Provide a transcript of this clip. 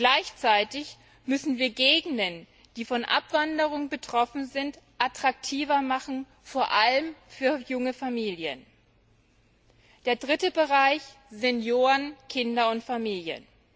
Gleichzeitig müssen wir Gegenden, die von Abwanderung betroffen sind, attraktiver machen vor allem für junge Familien. Der dritte Bereich Senioren, Kinder und Familien.